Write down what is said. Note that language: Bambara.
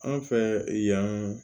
An fɛ yan